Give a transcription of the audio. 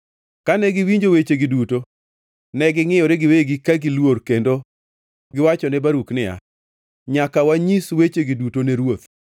Kane gi winjo wechegi duto, ne gingʼiyore giwegi ka giluor kendo giwachone Baruk niya, “Nyaka wanyis wechegi duto ne ruoth.”